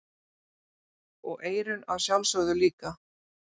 Og eyrun að sjálfsögðu líka.